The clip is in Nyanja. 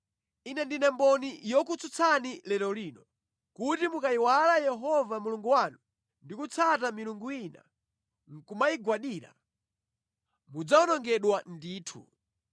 Ine ndine mboni yokutsutsani lero lino, kuti mukayiwala Yehova Mulungu wanu ndi kutsata milungu ina nʼkumayigwadira, mudzawonongeka ndithu.